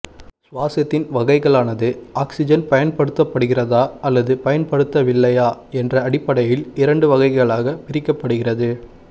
சுவாசத்தின் வகைகளானது ஆக்சிஜன் பயன்படுதபடுகிறதா அல்லது பயன்படுத்தவில்லையா என்ற அடிப்படையில் இரண்டு வகைகளாகப் பிரிக்கப்படுகிறது